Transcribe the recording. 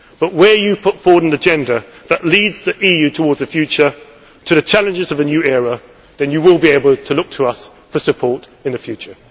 today. But where you put forward an agenda which leads the EU towards the future to the challenges of a new era then you will be able to look to us for support in the future.